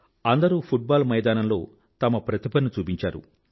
అందరూ football మైదానంలో తమ ప్రతిభను చూపించారు